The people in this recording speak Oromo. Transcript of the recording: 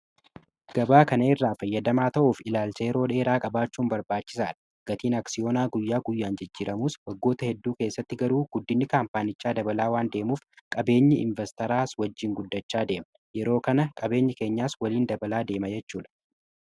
Gabaa kana irraa fayyadamaa ta'uuf ilaalacha yeroo dheeraa qabaachuun barbaachisaadha. Gatiin aaksiyonaa guyyaa guyyaan jijjiiramus waggoota hedduu keessatti garuu guddinni kaampaanichaa dabalaa waan deemuuf qabeenyi investaraas wajjiin guddachaa deema yeroo kana qabeenyi keenyaas waliin dabalaa deema jechuudha.